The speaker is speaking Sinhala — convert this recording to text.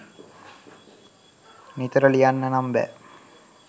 නිතර ලියන්න නම් බෑ.